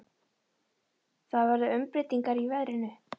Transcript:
Það verða umbreytingar í veðrinu.